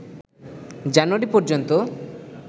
জানুয়ারি পর্যন্ত